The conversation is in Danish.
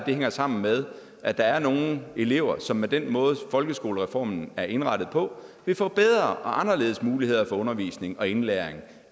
hænger sammen med at der er nogle elever som med den måde folkeskolereformen er indrettet på vil få bedre og anderledes muligheder for undervisning og indlæring